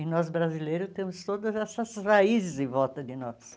E nós brasileiros temos todas essas raízes em volta de nós.